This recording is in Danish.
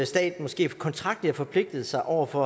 staten måske kontraktligt har forpligtet sig over for